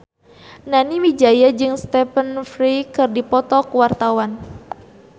Nani Wijaya jeung Stephen Fry keur dipoto ku wartawan